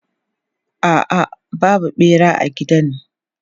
A'a, babu ɓera a gidan.